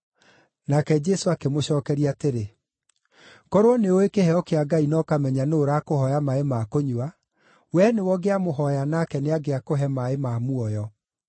Nake Jesũ akĩmũcookeria atĩrĩ, “Korwo nĩũũĩ kĩheo kĩa Ngai na ũkamenya nũũ ũrakũhooya maaĩ ma kũnyua, wee nĩwe ũngĩamũhooya nake nĩangĩakũhe maaĩ ma muoyo.”